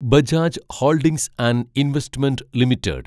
Bajaj holdings and investment limited